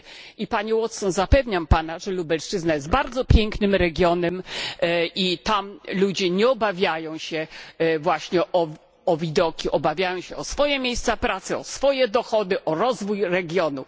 I Panie Watson, zapewniam Pana, że Lubelszczyzna jest bardzo pięknym regionem i tam ludzie nie obawiają się właśnie o widoki, obawiają się o swoje miejsca pracy, o swoje dochody, o rozwój regionu.